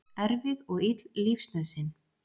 Erfið og ill lífsnauðsyn.